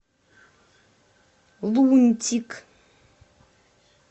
лунтик